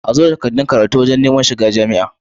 Azo da takaddun karatu wajan Neman shiga jamia